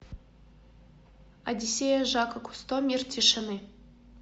одиссея жака кусто мир тишины